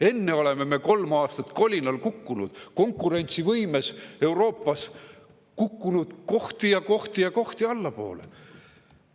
Enne oleme me kolm aastat kolinal kukkunud, konkurentsivõimes Euroopas kukkunud kohti ja kohti ja kohti allapoole.